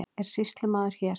Er sýslumaður hér?